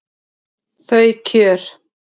Þau kjör